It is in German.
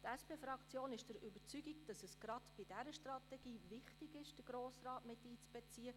Die SP-Fraktion ist überzeugt, dass es gerade bei dieser Strategie wichtig ist, den Grossen Rat miteinzubeziehen.